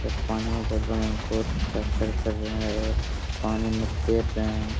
पानी भर रहे हैं और पानी में तैर रहे हैं |